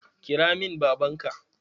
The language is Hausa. Kira min baban ka!